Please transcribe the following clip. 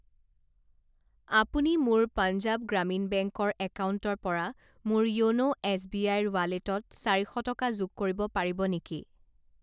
আপুনি মোৰ পাঞ্জাৱ গ্ৰামীণ বেংক ৰ একাউণ্টৰ পৰা মোৰ য়োন' এছবিআইৰ ৱালেটত চাৰি শ টকা যোগ কৰিব পাৰিব নেকি?